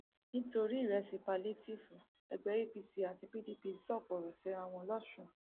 palliative ẹgbẹ apc àti pdp sọkò ọrọ síra wọn lọsùn